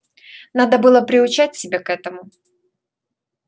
надо было приучать себя к этому